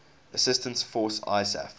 assistance force isaf